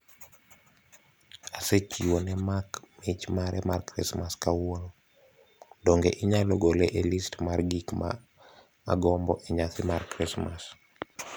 Asechiwo ne Mark mich mare mar Krismas kawuono. Donge inyalo gole e list mar gik ma agombo e nyasi mar Krismas?